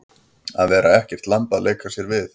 Að vera ekkert lamb að leika sér við